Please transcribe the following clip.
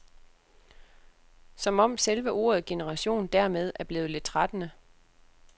Som om selve ordet generation dermed er blevet lidt trættende.